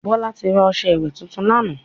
Bọ́lá ti ra ọṣẹ́ ìwè tuntun lánàá.